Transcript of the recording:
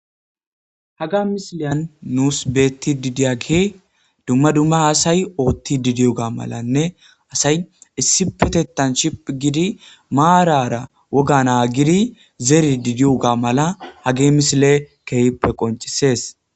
Haga misileyan nuus beetti didiya ge dumma dumma haasay oothti didiyo ga malanne asay issi petettan shiph gidi maarara wogana gidi zeri didiyo ga mala hage misile keehippe qoncisees.